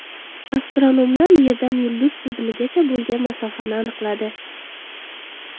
Astronomlar Yerdan yulduz tizimigacha bo‘lgan masofani aniqladi.